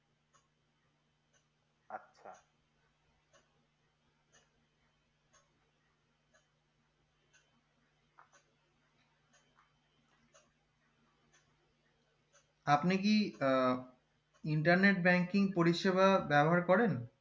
আপনি কি আহ internet banking পরিষেবা ব্যবহার করেন